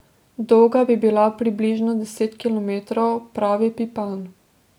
Dolga bi bila približno deset kilometrov, pravi Pipan.